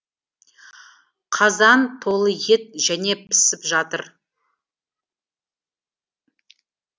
қазан толы ет және пісіп жатыр